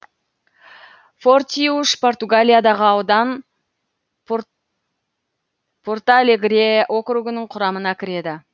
фортиуш португалиядағы аудан порталегре округінің құрамына кіреді